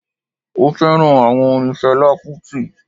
Mo féràn áwon orin felá kútì